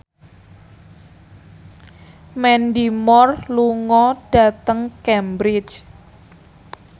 Mandy Moore lunga dhateng Cambridge